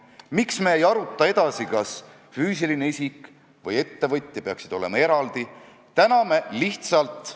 Jõudsime arusaamisele, et kui jutt on "laitmatust renomeest", siis me saame asjast kõik ühtemoodi aru, kui aga eelistame "laitmatut mainet", siis peaks seda laitmatust mingil moel määratlema.